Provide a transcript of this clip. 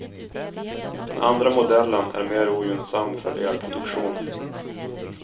Den andra modellen är mer ogynnsam för elproduktion.